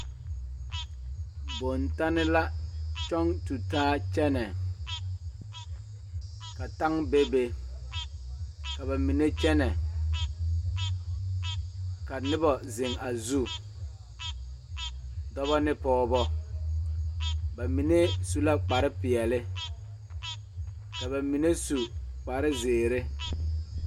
Bontanne la kyɔŋ tu taa kyɛnɛ ka taŋ bebe ka ba mine kyɛnɛ ka noba zeŋ a zu dɔba ne pɔgeba ba mine su la kparepeɛle ka ba mine su kparezeere.